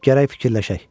Gərək fikirləşək.